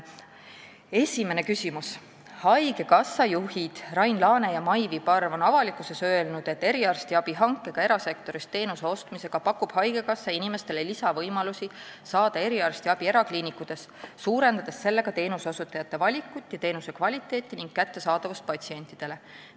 Esimene küsimus: "Haigekassa juhid Rain Laane ja Maivi Parv on avalikkusele öelnud, et eriarstiabi hankega erasektorist teenuse ostmisega pakub haigekassa inimestele lisavõimalusi saada eriarstiabi erakliinikutes, suurendades sellega teenuseosutajate valikut ja teenuse kvaliteeti ning kättesaadavust patsientidele.